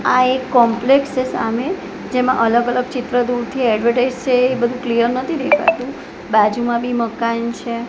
આ એક કોમ્પ્લેક્સ છે સામે જેમાં અલગ અલગ ચિત્ર દૂરથી એડવર્ટાઇઝ છે એ બધું ક્લિયર નથી દેખાતું બાજુમાં બી મકાન છે.